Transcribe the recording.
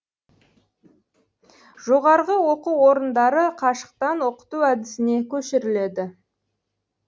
жоғары оқу орындары қашықтан оқыту әдісіне көшіріледі